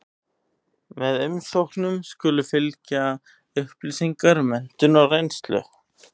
Með umsóknum skulu fylgja upplýsingar um menntun og reynslu.